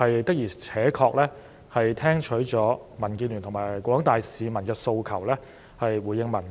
的而且確，政府是聽取了民主建港協進聯盟及廣大市民的訴求，回應民意。